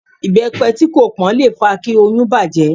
Ìbẹ́pe tí kò pón le fa kí oyún bàjẹ́.